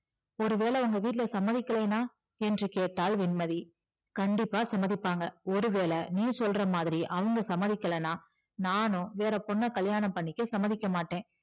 ஒருவேளை உங்க வீட்ல சம்மதிக்கலைனா என்று கேட்டாள் வெண்மதி கண்டிப்பா சம்மதிப்பாங்க ஒருவேளை நீ சொல்றமாதிரி அவங்க சம்மதிக்கலைனா நானும் வேற பொண்ண கல்யாணம் பண்ணிக்க சம்மதிக்க மாட்டேன்